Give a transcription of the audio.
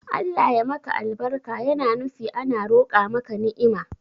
Allah ya maka albarka yana nufi ana roqa maka ni'ima